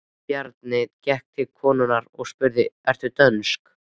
Bjarni gekk til konunnar og spurði: Ertu dönsk?